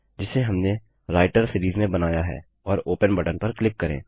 जिसे हमने writer series में बनाया है और ओपन बटन पर क्लिक करें